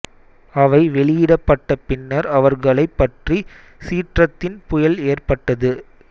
அவை வெளியிடப்பட்ட பின்னர் அவர்களைப் பற்றி சீற்றத்தின் புயல் ஏற்பட்டது